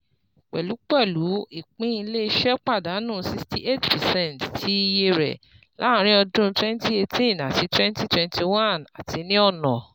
Pẹlupẹlu, ipin ile-iṣẹ padanu sixty eight percent ti iye rẹ laarin ọdun twenty eighteen ati twenty twenty one ati ni ọna